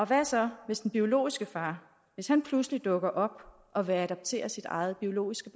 hvad så hvis den biologiske far pludselig dukker op og vil adoptere sit eget biologiske